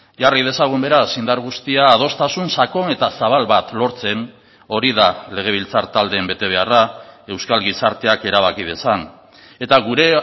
jarri dezagun beraz indar guztia adostasun sakon eta zabal bat lortzen hori da legebiltzar taldeen betebeharra euskal gizarteak erabaki dezan eta gure